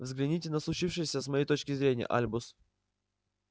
взгляните на случившееся с моей точки зрения альбус